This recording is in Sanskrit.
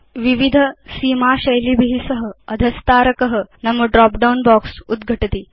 विविध सीमा शैलीभि सह अधस्तारक उद्घटति